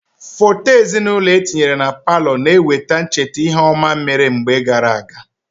Foto ezinaụlọ etinyere na palọ na-eweta ncheta ihe ọma mere mgbe gaara aga.